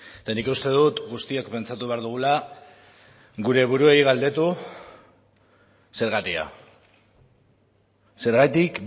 eta nik uste dut guztiok pentsatu behar dugula gure buruei galdetu zergatia zergatik